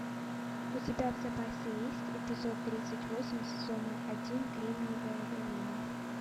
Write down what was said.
у тебя в запасе есть эпизод тридцать восемь сезона один кремниевая долина